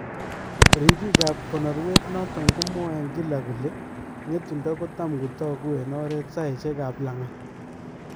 Ribiikab konorwet noton komwae en kilaa ng'etundo kotamkotakuu en oreet sayisyeekab lang'at